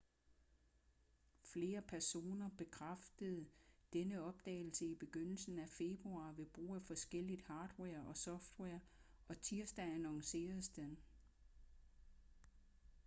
flere personer bekræftede denne opdagelse i begyndelsen af februar ved brug af forskelligt hardware og software og tirsdag annonceredes den